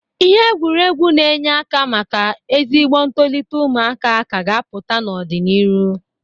Ihe egwuregwu na-enye aka maka ezigbo ntolịta ụmụaka ka a ga-apụta n'ọ dị n'irụ.